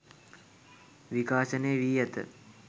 විකාශනය වී ඇත